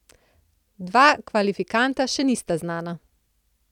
Dva kvalifikanta še nista znana.